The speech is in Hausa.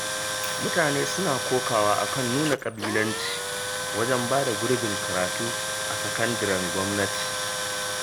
Mutane suna kokawa a kan nuna ƙabilanci wajen ba da gurbin karatu a sakandiren gwamnati